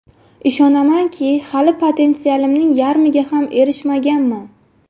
Ishonamanki, hali potensialimning yarmiga ham erishmaganman.